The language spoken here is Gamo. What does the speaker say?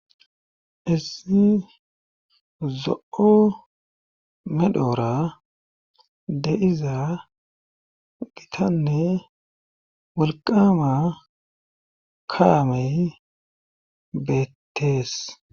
Issi zo'o medhoora deiza gitanne walqama kaamey beettees.